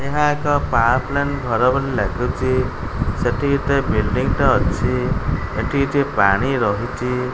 ଏହା ଏକ power plant ଘର ବୋଲି ଲାଗୁଚି ସେଠି କେତେ ବିଲ୍ଡିଙ୍ଗ ଟେ ଅଛି ଏଠି କିଛି ପାଣି ରହିଚି।